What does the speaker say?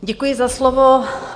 Děkuji za slovo.